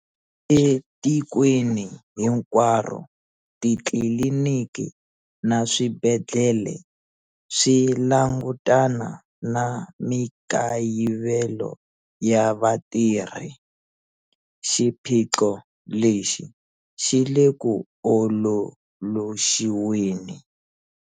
Eti-kweni hinkwaro titliliniki na swibedhlele swi langutana na mikayivelo ya vatirhi. Xiphiqo lexi xi le ku ololoxiweni.